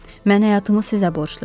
Mən həyatımı sizə borcluyam.